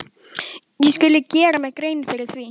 Ég skuli gera mér grein fyrir því.